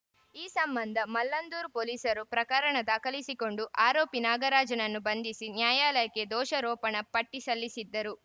ಈ ಸಂಬಂಧ ಮಲ್ಲಂದೂರು ಪೊಲೀಸರು ಪ್ರಕರಣ ದಾಖಲಿಸಿಕೊಂಡು ಆರೋಪಿ ನಾಗರಾಜ್‌ನನ್ನು ಬಂಧಿಸಿ ನ್ಯಾಯಾಲಯಕ್ಕೆ ದೋಷರೋಪಣಾ ಪಟ್ಟಿಸಲ್ಲಿಸಿದ್ದರು